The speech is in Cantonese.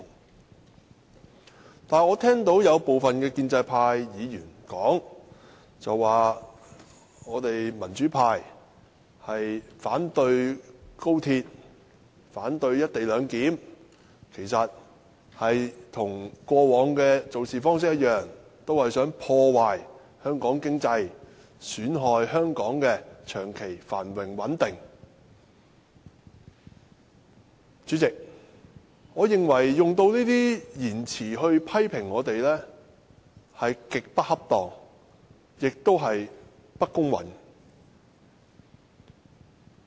不過，我聽到部分建制派議員說，民主派反對高鐵、反對"一地兩檢"，其實跟過往的做事方式一樣，便是想破壞香港經濟，損害香港的長期繁榮穩定。主席，我認為使用這些言詞批評我們極不恰當，而且不公允。